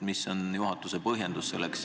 Milline on juhatuse põhjendus?